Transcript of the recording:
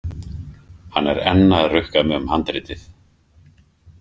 Hann er enn að rukka mig um handritið.